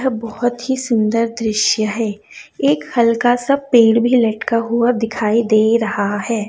यह बहोत ही सुंदर दृश्य है एक हल्का सा पेड़ भी लटका हुआ दिखाई दे रहा है।